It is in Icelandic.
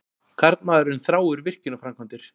Karlmaðurinn þráir virkjunarframkvæmdir.